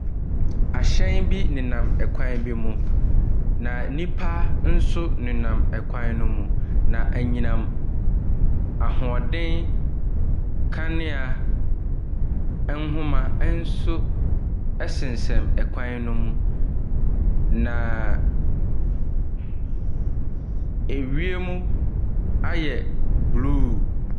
Ahyɛn bi nenam kwan bi mu, na nnipa nso nenam ɛkwan no mu, na anyinam ahoɔden kanea nhoma nso sensɛn kwan no mu. Naaa ewiem ayɛ blue.